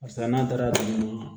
Barisa n'an taara